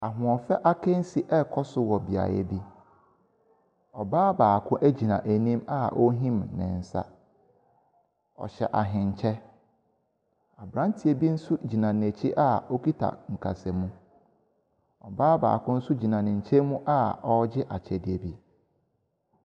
Ahoɔfɛ akansie bi ɛrekɔ so, ɔbaa baako agyina anim a ɔrehim ne nsa, ɔhyɛ ahenkyɛ. Aberanteɛ bi nso agyina n’akyi a okita nkasamu. Ɔbaa baako nso gyina ne nkyɛn mu a ɔregye akyɛdeɛ bi.